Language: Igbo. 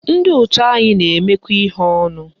Ndị otu anyị na-emekọ ihe ọnụ